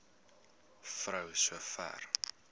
vrou so ver